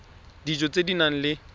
dijo tse di nang le